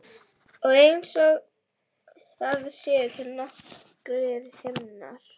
Og einsog það séu til nokkrir himnar.